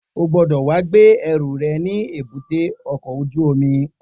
O gbọ́dọ̀ wá gbé ẹrù rẹ̀ ní èbúté ọkọ̀ ojú omi l